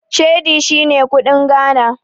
Cedi shine kuɗin Ghana.